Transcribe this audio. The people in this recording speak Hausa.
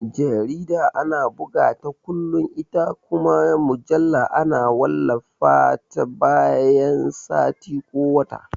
Jarida ana bugata kullum ita kuma mujalla ana wallafa ta bayan sati ko wata